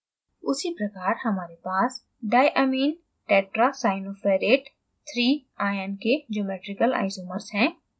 उसीप्रकार हमारे पास diamminetetracyanoferrate iii ion के geometrical isomers हैं